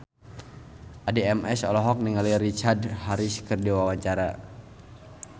Addie MS olohok ningali Richard Harris keur diwawancara